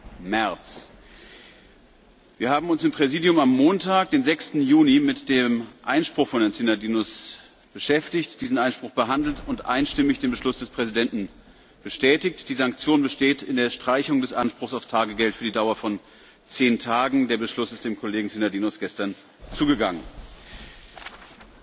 9. März verhängt hat. Wir haben uns im Präsidium am Montag, dem 6. Juni, mit dem Einspruch von Herrn Synadinos beschäftigt, diesen Einspruch behandelt und einstimmig den Beschluss des Präsidenten bestätigt. Die Sanktion besteht in der Streichung des Anspruchs auf Tagegeld für die Dauer von zehn Tagen. Der Beschluss ist dem Kollegen Synadinos gestern zugegangen. Das Verfahren ist damit abgeschlossen.